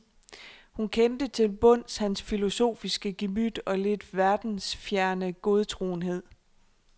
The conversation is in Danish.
Hun kendte til bunds hans filosofiske gemyt og lidt verdensfjerne godtroenhed.